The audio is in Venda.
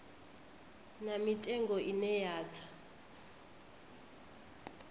na mitengo ine ya tsa